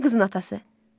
Kimdir qızın atası?